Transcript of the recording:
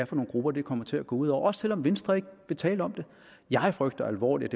for nogle grupper det kommer til at gå ud over også selv om venstre ikke vil tale om det jeg frygter alvorligt